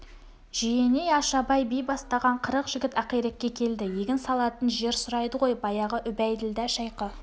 жиеней ашабай би бастаған қырық жігіт ақирекке келді егін салатын жер сұрайды ғой баяғы үбәйділда шайқы